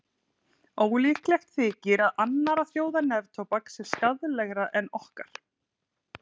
Ólíklegt þykir að annarra þjóða neftóbak sé skaðlegra en okkar.